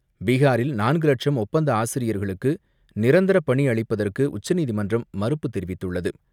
பீஹாரில் நான்கு லட்சம் ஒப்பந்த ஆசிரியர்களுக்கு நிரந்தர பணி அளிப்பதற்கு உச்சநீதிமன்றம் மறுப்பு தெரிவித்துள்ளது.